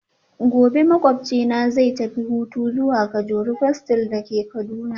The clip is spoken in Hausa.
Gobe ​​makwabcina zai tafi hutu zuwa kajuru castle dake Kaduna